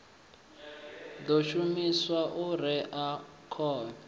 ḓo shumiswa u rea khovhe